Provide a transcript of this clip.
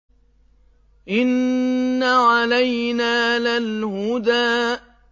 إِنَّ عَلَيْنَا لَلْهُدَىٰ